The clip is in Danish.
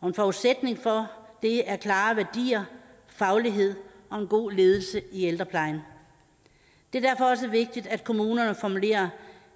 og en forudsætning for det er klare værdier faglighed og en god ledelse i ældreplejen det er derfor også vigtigt at kommunerne formulerer